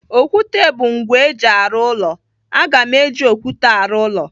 Okwute bụ ngwa eji arụ ụlọ. Aga m eji okwute arụ ụlọ.